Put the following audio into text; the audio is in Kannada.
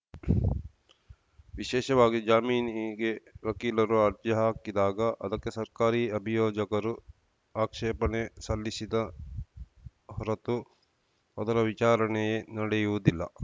ವಿಶೇಷವಾಗಿ ಜಾಮೀನಿಗೆ ವಕೀಲರು ಅರ್ಜಿ ಹಾಕಿದಾಗ ಅದಕ್ಕೆ ಸರ್ಕಾರಿ ಅಭಿಯೋಜಕರು ಆಕ್ಷೇಪಣೆ ಸಲ್ಲಿಸಿದ ಹೊರತು ಅದರ ವಿಚಾರಣೆಯೇ ನಡೆಯುವುದಿಲ್ಲ